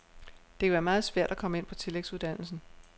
Det kan være meget svært at komme ind på tillægsuddannelsen.